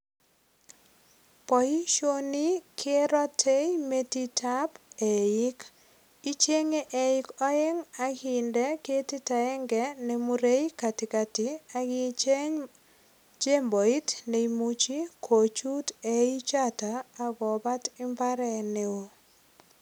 Boisioni kerote metitab eik. Ichenge eikoeng ak inde ketit agenge ne murei katikati ak icheng chemboit nemuchi kochut eichoto ak kobat imbaret neo.